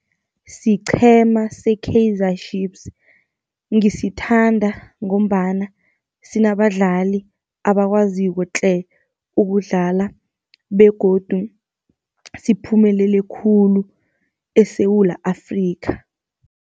Siqhema se-Kaizer Chiefs, ngisithanda ngombana sinabadlali abakwaziko tle ukudlala begodu siphumelele khulu eSewula Afrika.